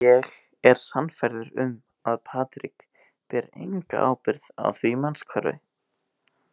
Ég er sannfærður um að Patrik ber enga ábyrgð á því mannshvarfi.